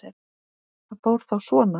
Það fór þá svona.